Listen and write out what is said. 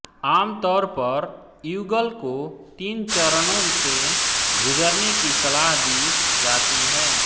आमतौर पर युगल को तीन चरणों से गुजरने की सलाह दी जाती है